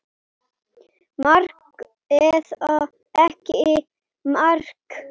Mark eða ekki mark?